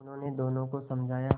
उन्होंने दोनों को समझाया